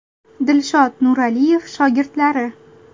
Dilshod Nuraliyev shogirdlari.